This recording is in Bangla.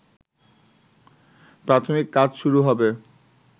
প্রাথমিক কাজ শুরু হবে